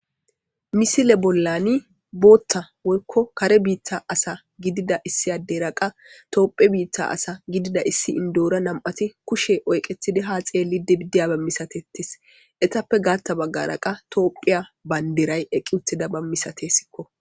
Misile bollani bootta woykko kare biitta asa gidida issiyaderaqa toophe biitta asa gidida issi indoora nam'ati kushe oyqetidi ha xeelli dibidiyabemmisatettis etappe gaatta baggaraqa toophiya bayndiray eqqi utida bammisatesikko.